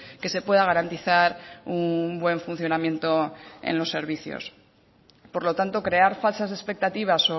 que se pueda garantizar un buen funcionamiento en los servicios por lo tanto crear falsas expectativas